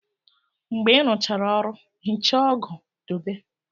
Mgbe ị rụchara ọrụ, hichaa ọgụ dobe.